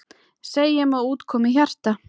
Segjum að út komi hjarta.